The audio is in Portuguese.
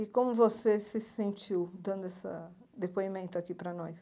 E como você se sentiu dando essa depoimento aqui para nós?